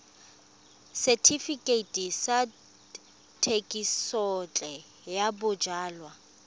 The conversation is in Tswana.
setefikeiti sa thekisontle ya bojalwa